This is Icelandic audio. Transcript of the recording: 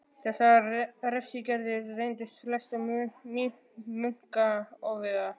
Þessar refsiaðgerðir reyndust flestum munkanna ofviða.